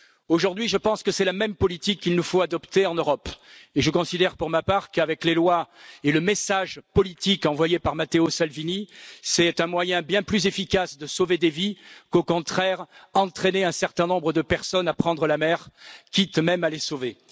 Aujourd'hui, je pense que c'est la même politique qu'il nous faut adopter en Europe et je considère pour ma part qu'avec les lois et le message politique envoyé par Matteo Salvini, c'est un moyen bien plus efficace de sauver des vies, qu'au contraire entraîner un certain nombre de personnes à prendre la mer, quitte même à les sauver.